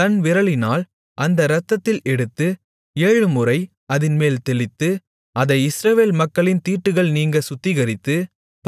தன் விரலினால் அந்த இரத்தத்தில் எடுத்து ஏழுமுறை அதின்மேல் தெளித்து அதை இஸ்ரவேல் மக்களின் தீட்டுகள் நீங்கச் சுத்திகரித்து